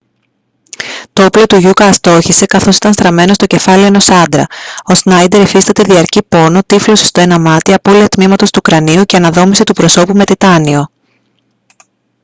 το όπλο του γιούκα αστόχησε καθώς ήταν στραμμένο στο κεφάλι ενός άντρα ο σνάιντερ υφίσταται διαρκή πόνο τύφλωση στο ένα μάτι απώλεια τμήματος του κρανίου και αναδόμηση του προσώπου με τιτάνιο